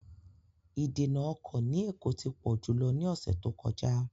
Ìdènà ọkọ̀ ní Èkó ti pọ̀ jù lọ ní ọ̀sẹ̀ tó kọjá.